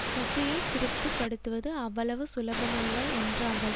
சுசியை திருப்திபடுத்துவது அவ்வளவு சுலபமல்ல என்றார்கள்